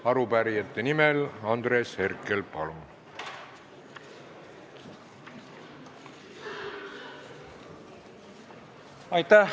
Arupärijate nimel Andres Herkel, palun!